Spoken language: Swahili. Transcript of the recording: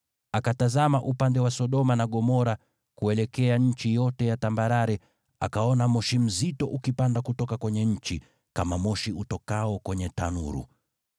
Akatazama upande wa Sodoma na Gomora, kuelekea nchi yote ya tambarare, akaona moshi mzito ukipanda kutoka kwenye nchi, kama moshi utokao kwenye tanuru.